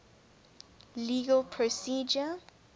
legal procedure